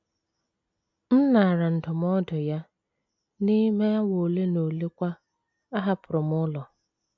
M naara ndụmọdụ ya, n’ime awa ole na ole kwa, ahapụrụ m ụlọ.